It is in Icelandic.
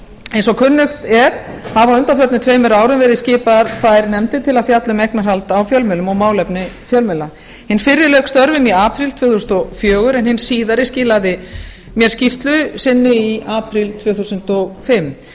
eins og kunnugt er hafa á undanförnum tveimur árum verið skipaðar tvær nefndir til að fjalla um eignarhald á fjölmiðlum og málefni fjölmiðla hin fyrri lauk störfum í apríl tvö þúsund og fjögur en hin síðari skilaði mér skýrslu sinni í apríl tvö þúsund og fimm